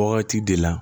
Wagati de la